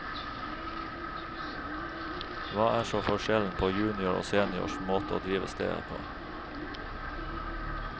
Hva er så forskjellen på junior og seniors måte å drive stedet på?